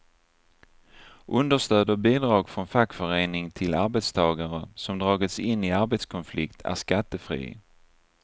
Understöd och bidrag från fackförening till arbetstagare som dragits in i arbetskonflikt är skattefri.